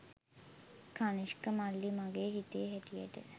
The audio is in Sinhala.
කණිෂ්ක මල්ලි මගේ හිතේ හැටියට.